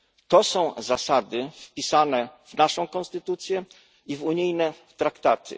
To są zasady wpisane w naszą konstytucję i w unijne traktaty.